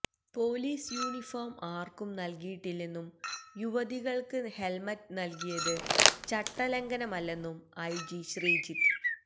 police uniform ആര്ക്കും നല്കിയിട്ടില്ലെന്നും യുവതികള്ക്ക് ഹെല്മറ്റ് നല്കിയത് ചട്ടലംഘനമല്ലെന്നും ഐ ജി ശ്രീജിത്ത്